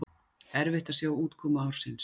Erfitt að sjá útkomu ársins